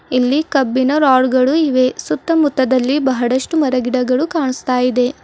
ಇಲ್ಲಿ ಕಬ್ಬಿಣ ರಾಡ್ಗಳು ಇವೆ ಸುತ್ತಮುತ್ತಲಿನಲ್ಲಿ ಬಹಳಷ್ಟು ಮರ ಗಿಡಗಳು ಕಾಣಿಸ್ತಾ ಇವೆ.